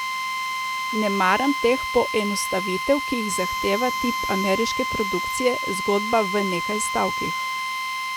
Ne maram teh poenostavitev, ki jih zahteva tip ameriške produkcije, zgodba v nekaj stavkih.